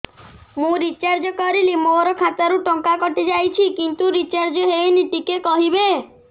ମୁ ରିଚାର୍ଜ କରିଲି ମୋର ଖାତା ରୁ ଟଙ୍କା କଟି ଯାଇଛି କିନ୍ତୁ ରିଚାର୍ଜ ହେଇନି ଟିକେ କହିବେ